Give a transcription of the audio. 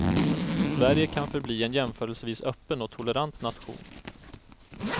Sverige kan förbli en jämförelsevis öppen och tolerant nation.